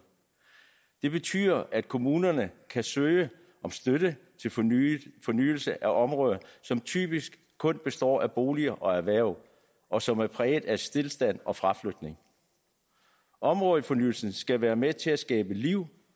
det betyder at kommunerne kan søge om støtte til fornyelse fornyelse af områder som typisk kun består af boliger og erhverv og som er præget af stilstand og fraflytning områdefornyelsen skal være med til at skabe liv